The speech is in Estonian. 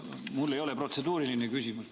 Mul ei ole protseduuriline küsimus.